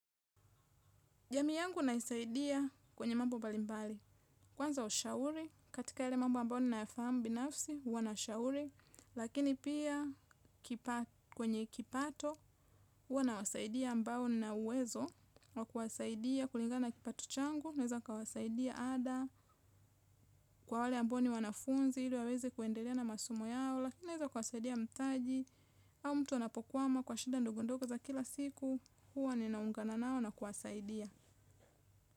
Jamii yangu naisaidia kwenye mambo mbalimbali. Kwanza ushauri, katika yale mambo ambayo ninayafamu binafsi, huwa na shauri. Lakini pia kwenye kipato, huwa nasaidia ambao nina uwezo. Na kuwasaidia kulingana kipato changu, naeza kawasaidia ada kwa wale ambao ni wanafunzi, ili waweze kuendelea na masomo yao. Lakini naweza kawasaidia mtaji, au mtu anapokwama kwa shida ndogondogo za kila siku, huwa ninaungana nao na kuwasaidia.